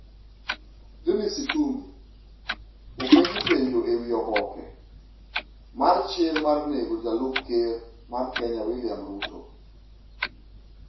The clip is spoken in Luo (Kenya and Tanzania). Dennis Itumbi: Openji penjo ewi oboke mar chir mar nego jalup ker mar Kenya William Ruto